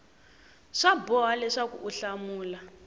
swa boha leswaku u hlamula